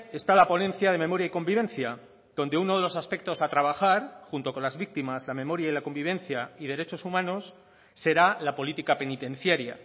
está la ponencia de memoria y convivencia donde uno de los aspectos a trabajar junto con las víctimas la memoria y la convivencia y derechos humanos será la política penitenciaria